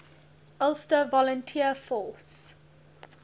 ulster volunteer force